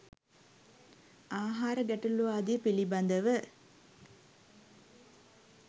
ආහාර ගැටළු ආදිය පිළිබඳව